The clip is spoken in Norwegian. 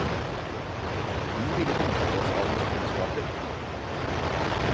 Vi ville benytte oss av hans kunnskaper.